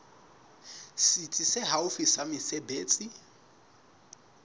setsi se haufi sa mesebetsi